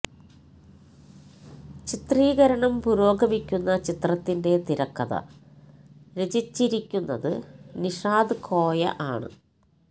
ചിത്രീകരണം പുരോഗമിക്കുന്ന ചിത്രത്തിന്റെ തിരക്കഥ രചിരിക്കുന്നത് നിഷാദ് കോയ ആണ്